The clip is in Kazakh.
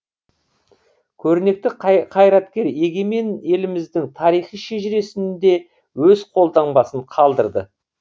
көрнекті қайраткер егемен еліміздің тарихи шежіресінде өз қолтаңбасын қалдырды